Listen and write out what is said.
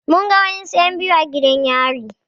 Mun ga wasu en biyu a gidan yari